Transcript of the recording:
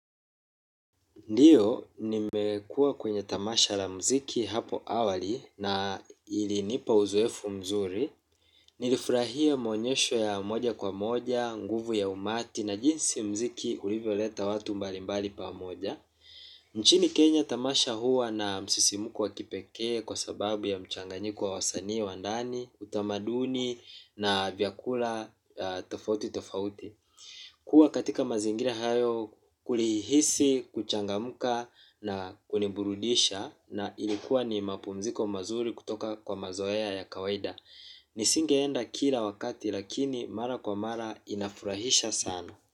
Ndiyo, nimekuwa kwenye tamasha la mziki hapo awali na ilinipa uzoefu mzuri. Nilifurahia maonyesho ya moja kwa moja, nguvu ya umati na jinsi mziki ulivyo leta watu mbalimbali pamoja. Nchini kenya tamasha huwa na msisimko wa kipekee kwa sababu ya mchanganyiko wa wasanii wa ndani utamaduni wa nadani na vyakula tofauti tofauti kuwa katika mazingira hayo kulihisi, kuchangamka na kuniburudisha na ilikuwa ni mapumziko mazuri kutoka kwa mazoea ya kawaida. Nisingeenda kila wakati lakini mara kwa mara inafurahisha sana.